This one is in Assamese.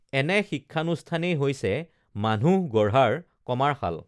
এনে শিক্ষানুষ্ঠানেই হৈছে মানুহ গঢ়াৰ কমাৰশাল